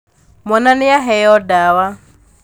Mwana nīaheo ndawa.